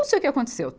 Não sei o que aconteceu.